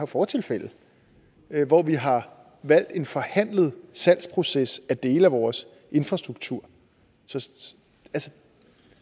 fortilfælde hvor vi har valgt en forhandlet salgsproces af dele af vores infrastruktur så